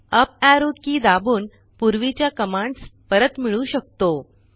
up arrow key दाबून पूर्वीच्या commands परत मिळवू शकतो